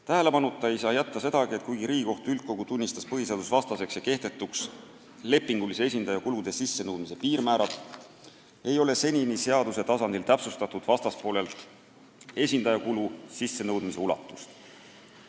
Tähelepanuta ei saa jätta sedagi, et kuigi Riigikohtu üldkogu tunnistas lepingulise esindaja kulude sissenõudmise piirmäärad põhiseadusvastaseks ja kehtetuks, ei ole senini seaduse tasandil täpsustatud vastaspoolelt esindajakulude sissenõudmise ulatust.